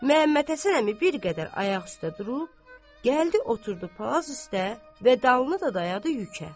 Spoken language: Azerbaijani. Məmmədhəsən əmi bir qədər ayaq üstə durub, gəldi oturdu palaz üstə və dalını da dayadı yükə.